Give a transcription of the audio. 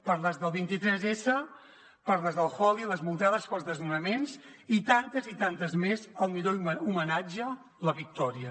per les del vint tress per les del holi i les multades pels desnonaments i tantes i tantes més el millor homenatge la victòria